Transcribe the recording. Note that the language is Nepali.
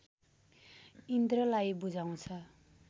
इन्द्रलाई बुझाउँछ